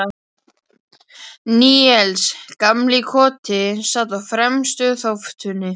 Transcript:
Níels gamli í Koti sat á fremstu þóftunni.